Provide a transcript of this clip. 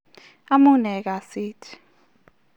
Amune kasit?